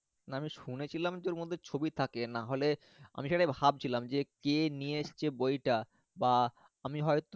না আমি শুনেছিলাম যে ওর মধ্যে ছবি থাকে নাহলে আমি সেটাই ভাবছিলাম যে কে নিয়ে এসছে বইটা, বা আমি হয়~